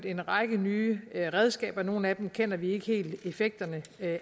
en række nye redskaber i brug nogle af dem kender vi ikke helt effekterne